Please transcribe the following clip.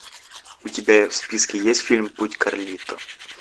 у тебя в списке есть фильм путь карлито